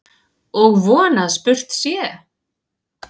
Og von að spurt sé.